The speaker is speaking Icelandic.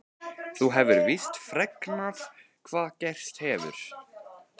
Þú hefur víst fregnað hvað gerst hefur?